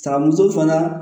Saka muso fana